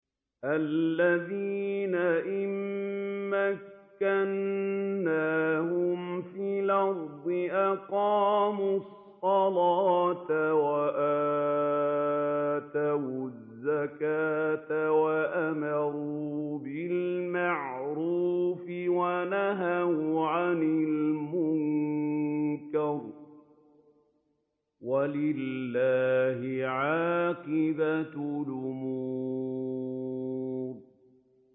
الَّذِينَ إِن مَّكَّنَّاهُمْ فِي الْأَرْضِ أَقَامُوا الصَّلَاةَ وَآتَوُا الزَّكَاةَ وَأَمَرُوا بِالْمَعْرُوفِ وَنَهَوْا عَنِ الْمُنكَرِ ۗ وَلِلَّهِ عَاقِبَةُ الْأُمُورِ